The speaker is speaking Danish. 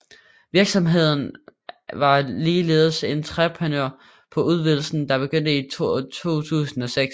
Virksomheden var ligeledes entreprenør på udvidelsen der begyndte i 2006